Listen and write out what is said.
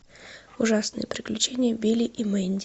ужасные приключения билли и мэнди